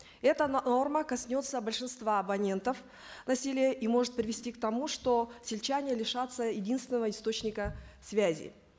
эта норма коснется большинства абонентов на селе и может привести к тому что сельчане лишатся единственного источника связи